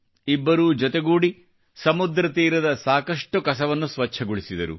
ಇಬ್ಬರೂ ಜೊತೆಗೂಡಿ ಸಮುದ್ರತೀರದ ಸಾಕಷ್ಟು ಕಸವನ್ನು ಸ್ವಚ್ಛಗೊಳಿಸಿದರು